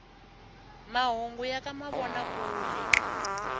mahungu ya ka mavona kule